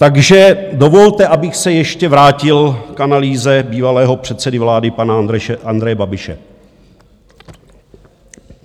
Takže dovolte, abych se ještě vrátil k analýze bývalého předsedy vlády pana Andreje Babiše.